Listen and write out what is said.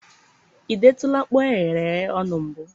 ị detụla mkpụ eghereghe ọnụ na mbụ?